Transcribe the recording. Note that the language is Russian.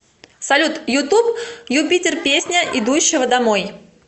салют ютуб ю питер песня идущего домой